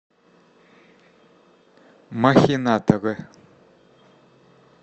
махинаторы